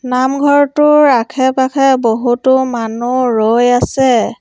নামঘৰটোৰ আখে-পাখে বহুতো মানুহ ৰৈ আছে।